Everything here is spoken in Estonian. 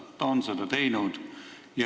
Ta on seda teinud.